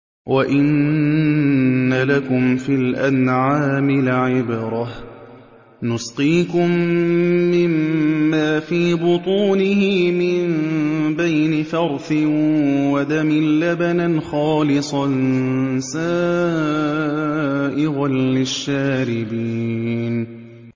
وَإِنَّ لَكُمْ فِي الْأَنْعَامِ لَعِبْرَةً ۖ نُّسْقِيكُم مِّمَّا فِي بُطُونِهِ مِن بَيْنِ فَرْثٍ وَدَمٍ لَّبَنًا خَالِصًا سَائِغًا لِّلشَّارِبِينَ